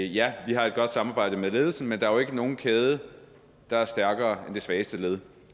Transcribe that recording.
ja vi har et godt samarbejde med ledelsen men der er jo ikke nogen kæde der er stærkere end det svageste led